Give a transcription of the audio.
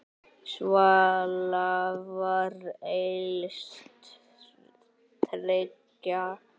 Svala var elst þriggja systra.